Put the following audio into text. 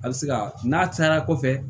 A bɛ se ka n'a cayara kɔfɛ